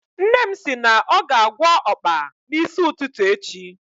Nne m si na ọ ga-agwọ ọkpa n'isi ụtụtụ echi